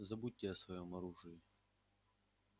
забудьте о своём оружии